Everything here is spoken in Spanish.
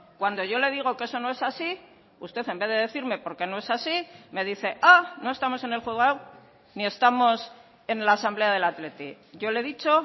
cuando yo le digo que eso no es así usted en vez de decirme por qué no es así me dice ah no estamos en el juzgado ni estamos en la asamblea del athletic yo le he dicho